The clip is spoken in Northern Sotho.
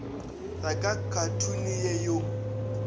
ya ka khathuni ye yo